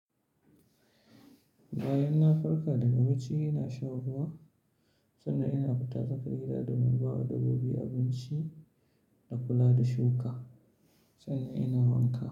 Bayan na farka daga bacci, ina sha ruwa sannan ina fita tsakar gida domin bawa dabbobi abinci da kula da shuka sannan ina wanka,